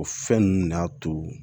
O fɛn ninnu de y'a to